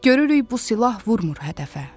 Görürük bu silah vurmır hədəfə.